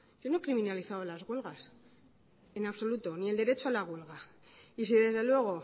yo no he criminalizado las huelgas en absoluto ni el derecho a la huelga y si desde luego